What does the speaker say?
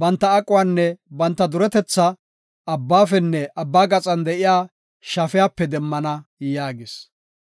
Banta aquwanne banta duretetha, abbaafenne abba gaxan de7iya shafiyape demmana” yaagis.